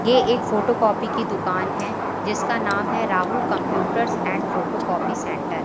ये एक photocopy की दुकान है जिसका नाम है Rahul computers and photocopy centre.